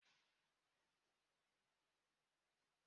E ji oromankirisi eme ogwu